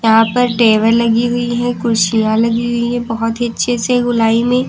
यहां पर टेबल लगी हुई है कुर्सियां लगी हुई है बहोत ही अच्छे से गोलाई में--